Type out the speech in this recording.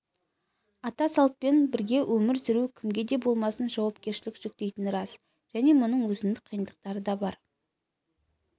ата салтпен бірге өмір сүру кімге де болмасын жауапкершілік жүктейтіні рас және мұның өзіндік қиындықтары да бар